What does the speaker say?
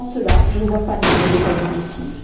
Sans cela, je ne vois pas l'intérêt de tels objectifs.